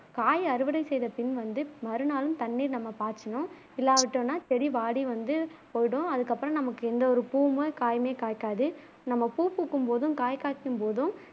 காய் அறுவடை செய்த பின் வந்து மறுநாளும் தண்ணீர் நம்ம பாய்ச்சனும் இல்லாவிட்டோம்னா செடி வாடி வந்து போய்டும் அதுக்கு அப்புறம் நமக்கு எந்த ஒரு பூவும் காயுமே காய்க்காது நம்ம பூ பூக்கும் போதும் காய் காய்க்கும் போதும்